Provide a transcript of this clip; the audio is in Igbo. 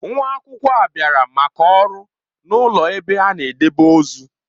Nwa akwụkwọ a bịara maka ọrụ n'ụlọ ebe a na-edebe ozu.